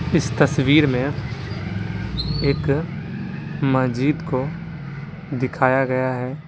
इस तस्वीर में एक मस्जिद को दिखाया गया है ।